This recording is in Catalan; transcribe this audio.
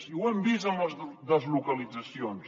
i ho hem vist amb les deslocalitzacions